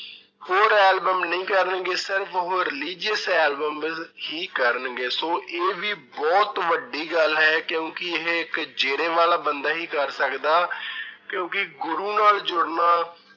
ਹੋਰ album ਨਹੀਂ ਕਰਨਗੇ ਸਿਰਫ਼ ਉਹ religious albums ਹੀ ਕਰਨਗੇ ਸੋ ਇਹ ਵੀ ਬਹੁਤ ਵੱਡੀ ਗੱਲ ਹੈ ਕਿਉਂਕਿ ਇਹ ਇੱਕ ਜੇਰੇ ਵਾਲਾ ਬੰਦਾ ਹੀ ਕਰ ਸਕਦਾ ਕਿਉਂਕਿ ਗੁਰੂ ਨਾਲ ਜੁੜਨਾ